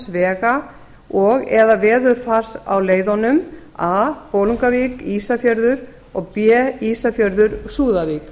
vega og eða veðurfars á leiðunum a bolungarvík ísafjörður og b ísafjörður súðavík